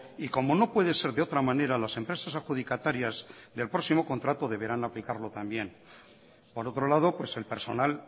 y como no puede ser de otra manera las empresas adjudicatarias del próximo contrato deberán aplicarlo también por otro lado el personal